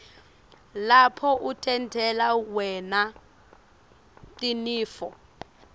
lapho utentela wna tinifo